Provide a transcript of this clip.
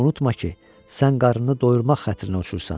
Unutma ki, sən qarnını doyurmaq xatirinə uçursan.